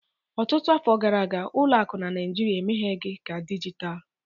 Ọtụtụ afọ gara aga, ụlọ akụ na Nigeria emeghị ka dijitalụ